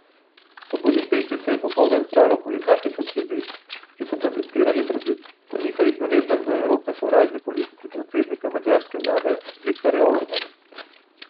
V Budimpešti se je popoldan zbralo okoli dva tisoč ljudi, ki so protestirali proti po njihovih navedbah do Evrope sovražni politiki predsednika madžarske vlade Viktorja Orbana.